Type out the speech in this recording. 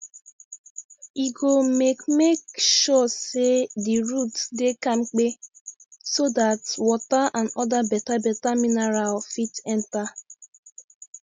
e go make make sure say the roots dey kampe so dat water and other betabeta mineral fit enta